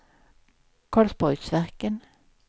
Karlsborgsverken